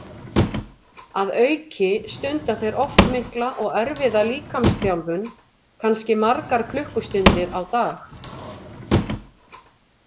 Að auki stunda þeir oft mikla og erfiða líkamsþjálfun, kannski margar klukkustundir á dag.